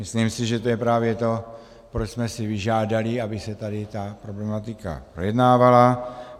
Myslím si, že to je právě to, proč jsme si vyžádali, aby se tady ta problematika projednávala.